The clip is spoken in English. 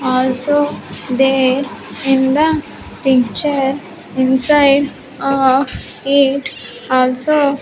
Also there in the picture inside of it also.